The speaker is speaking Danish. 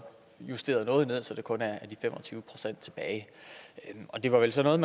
justeret noget ned så der kun er de fem og tyve procent tilbage det var vel sådan